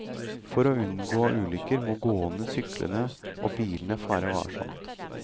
For å unngå ulykker må gående, syklende og bilende fare varsomt.